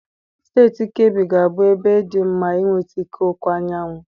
Steeti Keebi ga-abụ ebe dị mma inweta ike ọkụ anyanwụ.